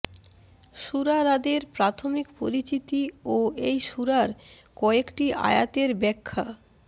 সুরা রাদের প্রাথমিক পরিচিতি ও এই সুরার কয়েকটি আয়াতের ব্যাখ্যা